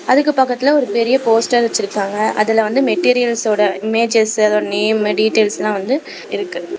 அதுக்கு பக்கத்துல ஒரு பெரிய போஸ்டர் வச்சிருக்காங்க அதுல வந்து மெட்டீரியல்சோடா இமேஜஸ் அதோட நேம் டீடைல்ஸ்லா வந்து இருக்கு.